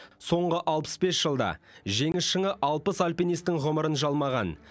соңғы алпыс бес жылда жеңіс шыңы алпыс альпинистің ғұмырын жалмаған